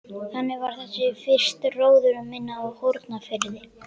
Þannig var þessi fyrsti róður minn á Hornafirði.